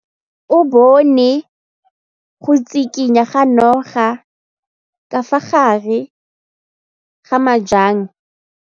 O bone go tshikinya ga noga ka fa gare ga majang.